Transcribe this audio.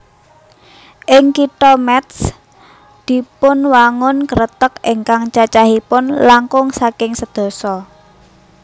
Ing Kitha Métz dipunwangun Kreteg ingkang cacahipun langkung saking sedasa